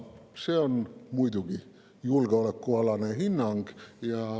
See on muidugi julgeolekualane hinnang.